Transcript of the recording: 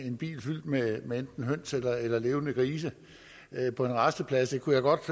en bil fyldt med enten høns eller levende grise på en rasteplads det kunne jeg godt